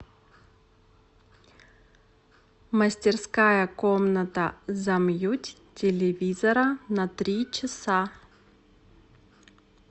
мастерская комната замьють телевизора на три часа